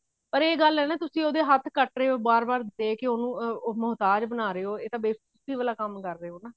or ਇਹ ਗੱਲ ਹੈ ਆ ਤੁਸੀਂ ਉਹਦੇ ਹੱਥ ਕੱਟ ਰਹੇ ਹੋ ਬਾਰ ਬਾਰ ਦੇ ਉਹਨੂੰ ਮੋਹਤਾਜ ਬਣਾ ਰਹੇ ਹੋ ਇਹ ਤਾਂ ਬੇਫ੍ਕੁਫੀ ਵਾਲਾ ਕੰਮ ਕਰ ਰਹੇ ਹੋ